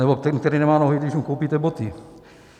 Nebo ten, který nemá nohy, když mu koupíte boty.